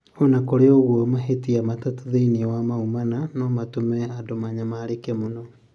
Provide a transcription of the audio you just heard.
O na kũrĩ ũguo, mahītia matatū thīinī wa mau mana no matũme andũ manyamarĩke mũno.